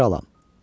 Mən kralam.